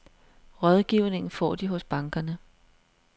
Rådgivningen får de hos bankerne.